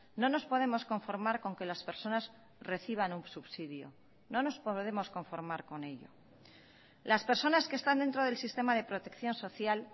no nos podemos conformar con que las personas reciban un subsidio no nos podemos conformar con ello las personas que están dentro del sistema de protección social